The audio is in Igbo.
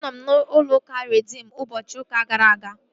Anọ m n'ụlọ ụka Reedim ụbọchị ụka gara aga